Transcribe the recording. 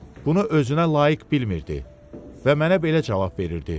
Bunu özünə layiq bilmirdi və mənə belə cavab verirdi: